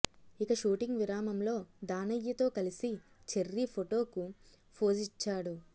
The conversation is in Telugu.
ఇక షూటింగ్ విరామంలో దానయ్యతో కలిసి చెర్రీ ఫోటోకు ఫోజిచ్చాడు